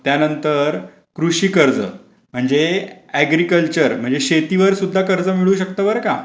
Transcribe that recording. त्यानंतर कृषी कर्ज म्हणजे एग्रीकल्चर म्हणजे शेतीवर सुद्धा कर्ज मिळू शकतो बर का.